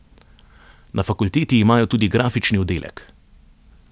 Na fakulteti imajo tudi grafični oddelek.